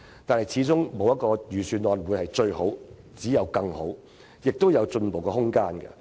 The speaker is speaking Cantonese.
然而，沒有一份預算案會是最好，只有更好，今年的預算案還有進步的空間。